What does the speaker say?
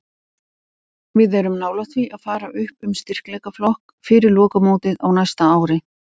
Við erum nálægt því að fara upp um styrkleikaflokk fyrir lokamótið á næsta ári.